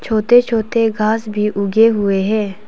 छोटे छोटे घास भी उगे हुए हैं।